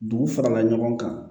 Dugu farala ɲɔgɔn kan